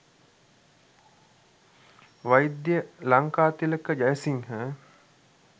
වෛද්‍ය ලංකාතිලක ජයසිංහ